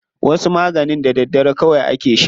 Wasu maganin da daddare kawai ake sha.